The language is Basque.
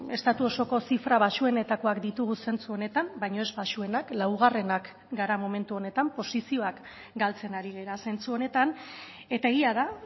estatu osoko zifra baxuenetakoak ditugu zentzu honetan baina ez baxuenak laugarrenak gara momentu honetan posizioak galtzen ari gara zentzu honetan eta egia da